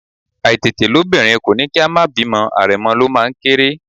Àìtètelóbìnrin kò ní kí a má bímọ̀, àrẹ̀mọ ló máa ń kéré